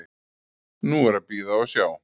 Nú er að bíða og sjá.